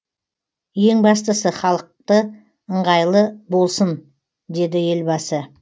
ең бастысы халықты ыңғайлы болсын деді елбасы